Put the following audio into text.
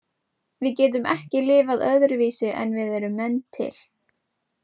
Við getum ekki lifað öðruvísi en við erum menn til.